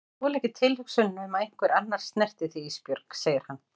Ég þoli ekki tilhugsunina um að einhver annar snerti þig Ísbjörg, segir hann.